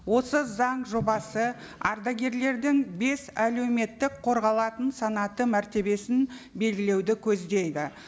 осы заң жобасы ардагерлердің бес әлеуметтік қорғалатын санаты мәртебесін белгілеуді көздейді